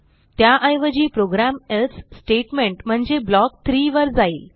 त्याऐवजी program else statement म्हणजे block 3 वर जाईल